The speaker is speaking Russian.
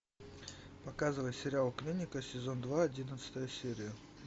показывай сериал клиника сезон два одиннадцатая серия